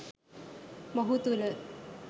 මොහු තුළ